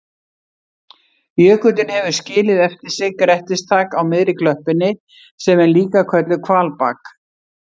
Jökullinn hefur skilið eftir sig grettistak á miðri klöppinni sem er líka kölluð hvalbak.